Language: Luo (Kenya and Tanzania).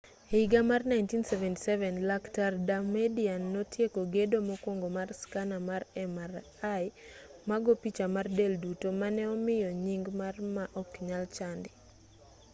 e higa mar 1977 lakt damadian notieko gedo mokwongo mar skana mar mri ma go picha mar del-duto mane omiyo nying mar ma oknyal chandi